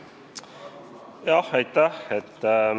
Aitäh!